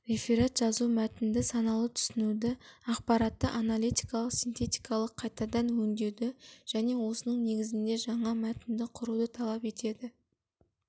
реферат жазу мәтінді саналы түсінуді ақпаратты аналитикалық-синтетикалық қайтадан өңдеуді және осының негізінде жаңа мәтінді құруды талап етеді